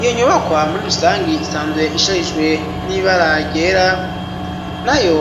Iyo nyubakwa muri rusangi isanzwe isharijwe n'ibara ryera nayo